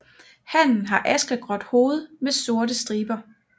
Hannen har askegråt hoved med sorte striber